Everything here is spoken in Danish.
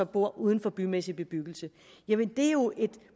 bor uden for bymæssig bebyggelse jamen det er jo et